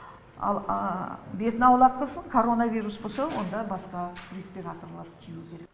ал бетін аулақ қылсын коронавирус болса онда басқа респераторлар кию керек